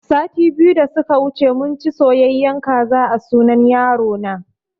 Sati biyu da suka wuce munci soyayen kaza a sunan yaro na